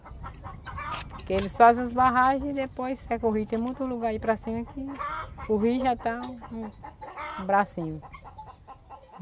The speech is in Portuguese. Porque eles fazem as barragem e depois... É que o rio tem muito lugar para ir para cima que o rio já está no bracinho.,